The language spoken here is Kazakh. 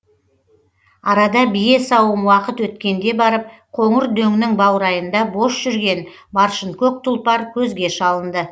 арада бие сауым уақыт өткенде барып қоңыр дөңнің баурайында бос жүрген баршынкөк тұлпар көзге шалынды